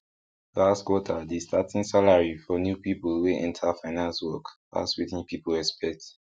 last quarter the starting salary for new people wey enter finance work pass wetin people expect